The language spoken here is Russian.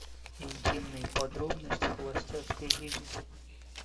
интимные подробности холостяцкой жизни